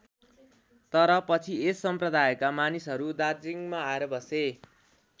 तर पछि यस सम्‍प्रदायका मानिसहरू दार्जिलिङमा आएर बसे।